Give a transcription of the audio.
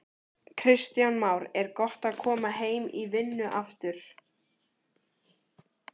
Kristján Már: Er gott að koma heim í vinnu aftur?